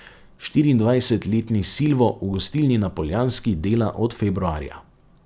Štiriindvajsetletni Silvo v gostilni na Poljanski dela od februarja.